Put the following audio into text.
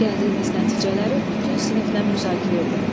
Gəldiyiniz nəticələri bütün siniflə müzakirə edin.